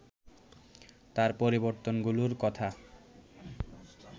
তার পরিবর্তনগুলোর কথা